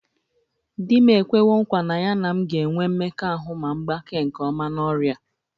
Di m ekwewo nkwa na ya na m ga-enwe mmekọahụ ma m gbakee nke ọma n'ọrịa a